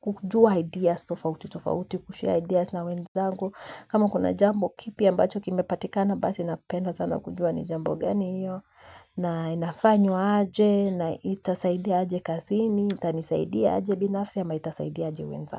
kujua ideas, tofauti, tofauti, kushare ideas na wenzangu. Kama kuna jambo kipya ambacho kimepatikana, basi napenda sana kujua ni jambo gani iyo. Na inafanywa aje, na itasaidia aje kazini, itanisaidia aje binafsi ama itasaidiaje wenzangu.